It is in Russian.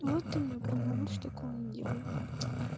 вот ты меня понял больше такого не делай